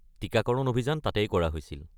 টিকাকৰণ অভিযান তাতেই কৰা হৈছিল।